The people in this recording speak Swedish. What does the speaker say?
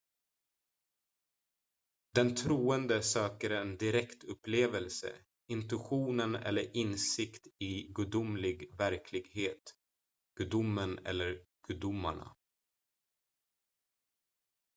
den troende söker en direktupplevelse intuition eller insikt i gudomlig verklighet/gudomen eller gudomarna